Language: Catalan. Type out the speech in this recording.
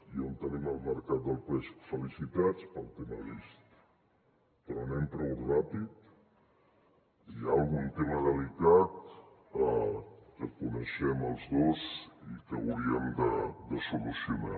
i on tenim el mercat del peix felicitats pel tema vist però anem prou ràpid hi ha algun tema delicat que coneixem els dos i que hauríem de solucionar